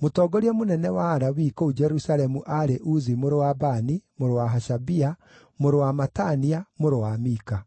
Mũtongoria mũnene wa Alawii kũu Jerusalemu aarĩ Uzi mũrũ wa Bani, mũrũ wa Hashabia, mũrũ wa Matania, mũrũ wa Mika.